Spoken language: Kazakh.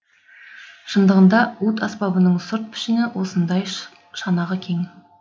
шындығында уд аспабының сырт пішіні осындай шанағы кең